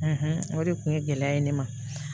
o de kun ye gɛlɛya ye ne ma